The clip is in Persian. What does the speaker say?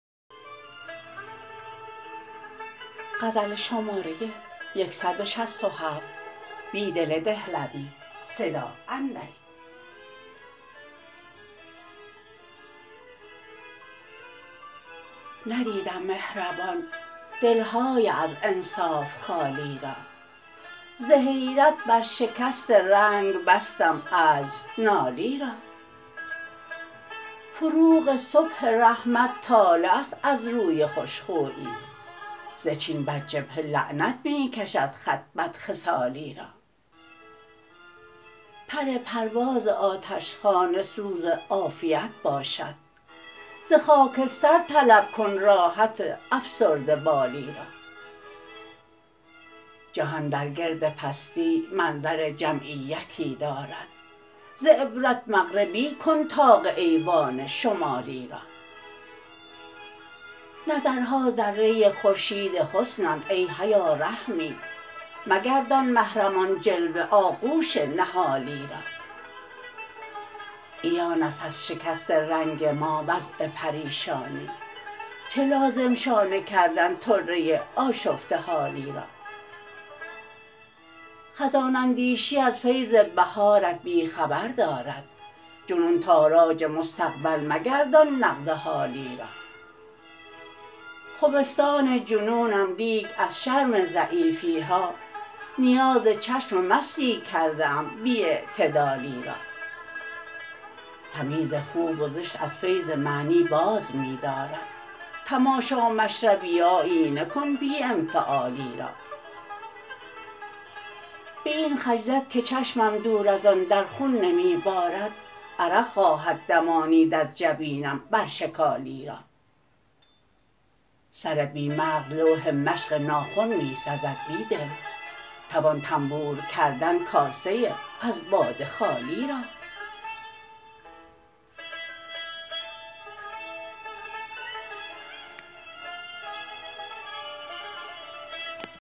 ندیدم مهربان دلهای از انصاف خالی را زحیرت برشکست رنگ بستم عجزنالی را فروغ صبح رحمت طالع است ازروی خوشخویی زچین برجبهه لعنت می کشد خط بد خصالی را پر پرواز آتشخانه سوز عافیت باشد زخاکستر طلب کن راب افسرده بالی را جهان درگرد پستی منظر جمعیتی دارد ز عبرت مغربی کن طاق ایوان شمالی را نظرها ذره خورشید حسنند ای حیا رحمی مگردان محرم آن جلوه آغوش نهالی را عیان است ازشکست رنگ ما وضع پریشانی چه لازم شانه کردن طره آشفته حالی را خزان اندیشی از فیض بهارت بیخبر دارد جنون تاراج مستقبل مگردان نقد حالی را خمستان جنونم لیک ازشرم ضعیفیها نیاز چشم مستی کرده ام بی اعتدالی را تمیز خوب و زشت از فیض معنی باز می دارد تماشا مشربی آیینه کن بی انفعالی را به این خجلت که چشمم دوراز آن درخون نمی بارد عرق خواهد دمانید از جبینم برشکالی را سر بی مغز لوح مشق ناخن می سزد بیدل توان طنبورکردن کاسه از باده خالی را